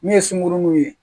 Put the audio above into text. Min ye sunkurunun ye